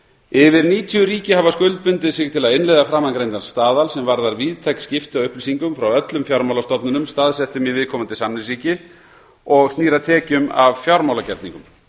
yfir níutíu ríki hafa skuldbundið sig til að innleiða framangreindan staðal sem varðar víðtæk skipti á upplýsingum frá öllum fjármálastofnunum staðsettum í viðkomandi samningsríki og snýr að tekjum af fjármálagerningum